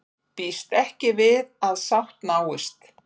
Býst ekki við að sátt náist